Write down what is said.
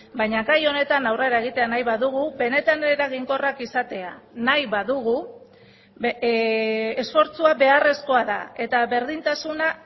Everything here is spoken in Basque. baina gai honetan aurrera egitea nahi badugu benetan eraginkorrak izatea nahi badugu esfortzua beharrezkoa da eta berdintasuna